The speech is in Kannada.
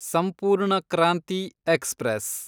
ಸಂಪೂರ್ಣ ಕ್ರಾಂತಿ ಎಕ್ಸ್‌ಪ್ರೆಸ್